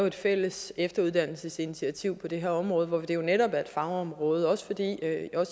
et fælles efteruddannelsesinitiativ på det her område hvor det netop er et fagområde også